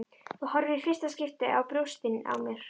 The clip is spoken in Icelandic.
Þú horfir í fyrsta skipti á brjóstin á mér.